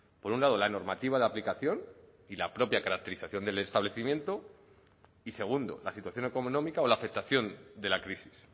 por un lado la normativa de aplicación y la propia caracterización del establecimiento y segundo la situación económica o la afectación de la crisis